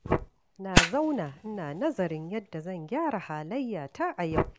Na zauna ina nazarin yadda zan gyara halayyata a yau.